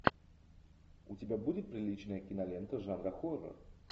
у тебя будет приличная кинолента жанра хоррор